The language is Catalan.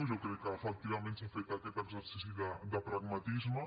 jo crec que efectivament s’ha fet aquest exercici de pragmatisme